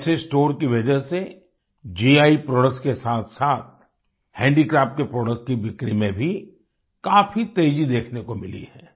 ऐसे स्टोर की वजह से गी प्रोडक्ट के साथसाथ हैंडीक्राफ्ट के प्रोडक्ट्स की बिक्री में काफी तेजी देखने को मिली है